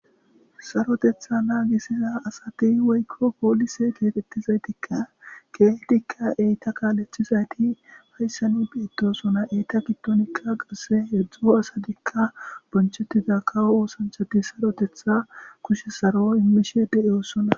sarotetha naagisiza asati weykko poolise geetettizaytikka keeetikka eyta kaalethizayti hayssanu biitosona eyta gittonikka qasse heedzdzo asatikka bonchettida kawo oosanchati sarotetha kushe saro imishe de7eosona